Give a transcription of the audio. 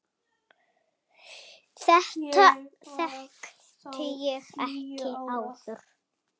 Þetta þekkti ég ekki áður.